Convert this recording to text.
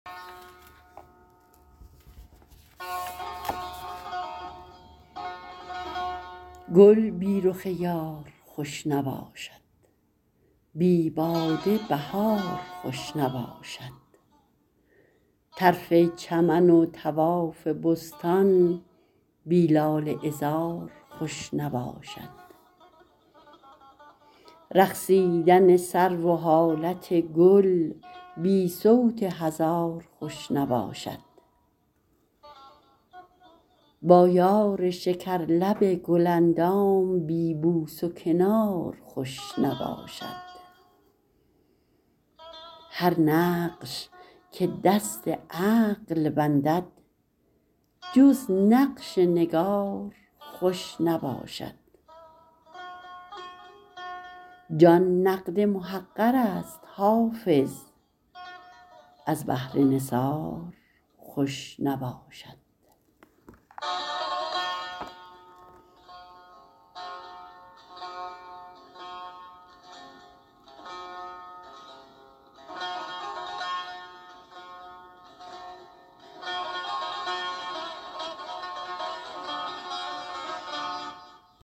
گل بی رخ یار خوش نباشد بی باده بهار خوش نباشد طرف چمن و طواف بستان بی لاله عذار خوش نباشد رقصیدن سرو و حالت گل بی صوت هزار خوش نباشد با یار شکرلب گل اندام بی بوس و کنار خوش نباشد هر نقش که دست عقل بندد جز نقش نگار خوش نباشد جان نقد محقر است حافظ از بهر نثار خوش نباشد